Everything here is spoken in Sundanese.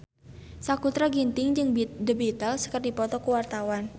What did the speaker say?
Sakutra Ginting jeung The Beatles keur dipoto ku wartawan